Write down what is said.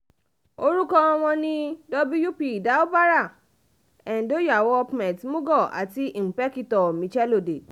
orúkọ wọn ni wp doubara edonyawoòpments mugo àti ìńpèkìtò um michelodey